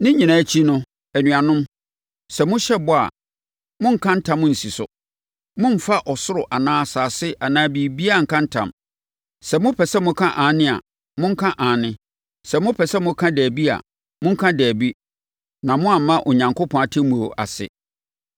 Ne nyinaa akyi no, anuanom, sɛ mohyɛ bɔ a, monnka ntam nsi so. Mommfa ɔsoro anaa asase anaa biribiara nnka ntam. Sɛ mopɛ sɛ moka “Aane” a, monka “Aane”. Sɛ nso mopɛ sɛ moka “Dabi” a, monka “Dabi” na mo amma Onyankopɔn atemmuo ase.